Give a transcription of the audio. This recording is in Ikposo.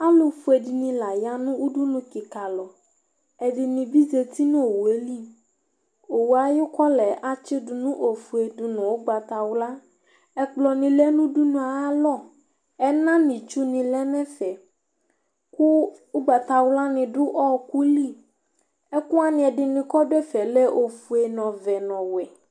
Alufuele dini la ya nu udunu kika di tu ɛdini bi zati nu owuli owu ayu kɔla yɛ atsi du ofue dunu ugbatawla ɛkplɔni lɛ nu udunu ayalɔ ɛna nu itsu lɛ nɛfɛ ku ugbatawla ni du ɔɔku li ɛkuwani ɛdini du ɛfɛ lɛ ofue ɔvɛ nu ɔwɛ